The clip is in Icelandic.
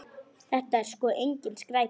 Þetta er sko engin skræpa.